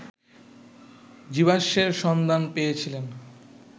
জীবাশ্মের সন্ধান পেয়েছিলেন